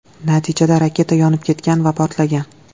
Natijada raketa yonib ketgan va portlagan.